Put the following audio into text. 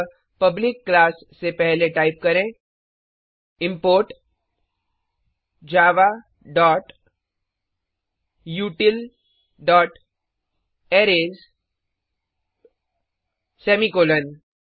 अतः public class से पहले टाइप करें इम्पोर्ट javautilअरेज सेमीकॉलन